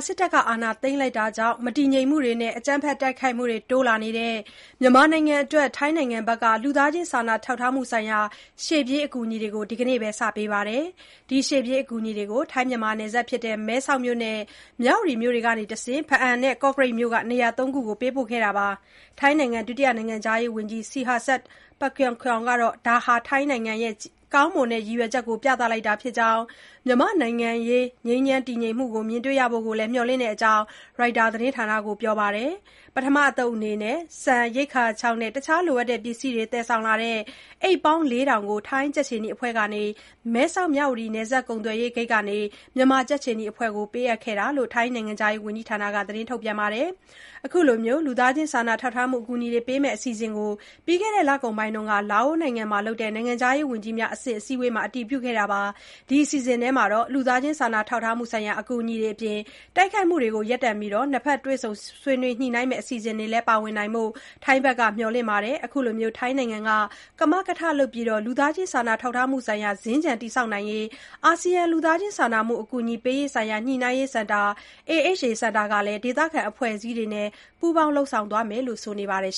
စစ်အာဏာသိမ်းမှုကြောင့် မတည်ငြိမ်မှုတွေနဲ့ အကြမ်းဖက်တိုက်ခိုက်မှုတွေ တိုးလာနေတဲ့ မြန်မာနိုင်ငံအတွက် ထိုင်းနိုင်ငံက လူသားချင်းစာနာထောက်ထားမှုဆိုင်ရာ ရှေ့ပြေးအကူအညီတွေကို ဒီနေ့ပဲ စတင်ပေးခဲ့ပါတယ်။ ဒီရှေ့ပြေးအကူအညီတွေကို ထိုင်း-မြန်မာနယ်စပ်ဖြစ်တဲ့ မဲဆောက်မြို့နဲ့ မြဝတီမြို့ကနေတဆင့် ဘားအံမြို့နယ်နဲ့ ကော့ကရိတ်မြို့နယ်တို့က နေရာ ၃ ခုကိုပေးပို့ခဲ့တာပါ။ ထိုင်းနိုင်ငံ ဒုတိယ နိုင်ငံခြားရေးဝန်ကြီး Sihasak Phuangketkeow ကတော့ ဒါဟာ ထိုင်းနိုင်ငံရဲ့ ကောင်းမွန်တဲ့ ရည်ရွယ်ချက်ကို ပြသလိုက်တာဖြစ်ကြောင်းနဲ့ မြန်မာ့နိုင်ငံရေး ငြိမ်းချမ်း တည်ငြိမ်မှုကို မြင်တွေ့ရဖို့ကိုလည်း မျှော်လင့်တယ်လို့ပြောကြောင်း Reuters သတင်းဌာနမှာ ဖော်ပြထားပါတယ်။ ပထမအသုတ်အနေနဲ့ ဆန်၊ ရိက္ခာခြောက်နဲ့ အခြားလိုအပ်တဲ့ပစ္စည်းတွေ သယ်ဆောင်လာတဲ့ အိတ် ၄,၀၀၀ ကို ထိုင်းကြက်ခြေနီအဖွဲ့က မဲဆောက်-မြဝတီနယ်စပ်ကုန်သွယ်ရေးဂိတ်မှာ မြန်မာကြက်ခြေနီအဖွဲ့ကို ပေးအပ်ခဲ့တယ်လို့ ထိုင်းနိုင်ငံခြားရေးဝန်ကြီးဌာနက ထုတ်ပြန်ထားပါတယ်။ အခုလို လူသားချင်းစာနာထောက်ထားမှုအကူအညီတွေပေးမယ့် အစီအစဉ်ကို ပြီးခဲ့တဲ့ လကုန်ပိုင်းက လာအိုနိုင်ငံမှာ လုပ်တဲ့ နိုင်ငံခြားရေး ဝန်ကြီးများအဆင့်အစည်းအဝေးမှာ အတည်ပြုခဲ့တာပါ။ ဒီအစီအစဉ်ထဲမှာ လူသားချင်းစာနာထောက်ထားမှုဆိုင်ရာ အကူအညီတွေအပြင် တိုက်ခိုက်မှုတွေကို ရပ်တန့်ပြီး နှစ်ဖက်တွေ့ဆုံညှိနှိုင်းမယ့်အစီအစဉ်တွေလည်းပါဝင်နိုင်ဖို့ ထိုင်းနိုင်ငံဘက်က မျှော်လင့်နေတာပါ။ အခုလို ထိုင်းနိုင်ငံက ကမကထလုပ်တဲ့ လူသားချင်းစာနာထောက်ထားမှုဆိုင်ရာ စင်္ကြံတည်ဆောက်နိုင်ဖို့အတွက် အာဆီယံ လူသားချင်းစာနာမှု အကူအညီပေးရေးဆိုင်ရာ ညှိနှိုင်းရေးစင်တာ (AHA Centre) ကလည်း ဒေသခံအဖွဲ့အစည်းတွေနဲ့ ပူးပေါင်းလုပ်ဆောင်သွားမယ်လို့ ဆိုပါတယ်